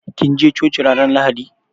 Kin je coci ranan lahaɗi?